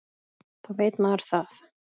Þá veit maður það.